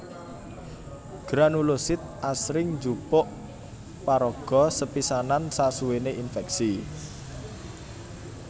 Granulosit asring njupuk paraga sepisanan sasuwéné infèksi